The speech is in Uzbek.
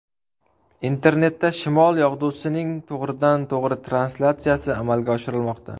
Internetda shimol yog‘dusining to‘g‘ridan to‘g‘ri translyatsiyasi amalga oshirilmoqda.